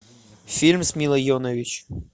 фильм с милой йовович